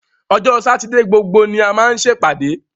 Ọjọ́ Sátidé gbogbo ni a máa ń ṣèpàdé